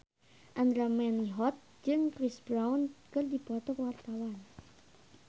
Andra Manihot jeung Chris Brown keur dipoto ku wartawan